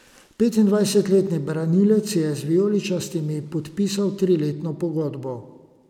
Petindvajsetletni branilec je z vijoličastimi podpisal triletno pogodbo.